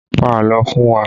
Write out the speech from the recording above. Pa àlọ́ fún wa!